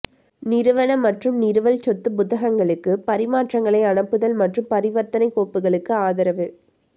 நிறுவன மற்றும் நிறுவல் சொத்து புத்தகங்களுக்கு பரிமாற்றங்களை அனுப்புதல் மற்றும் பரிவர்த்தனை கோப்புகளுக்கு ஆதரவு